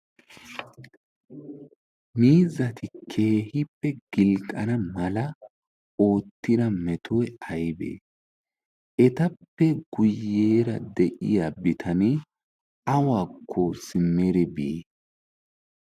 miizati keehippe gilqqana mala oottida metoy aybee etappe guyyeera deyiya bitanee awakko simeri bii